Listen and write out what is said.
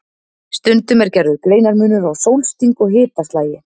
Stundum er gerður greinarmunur á sólsting og hitaslagi.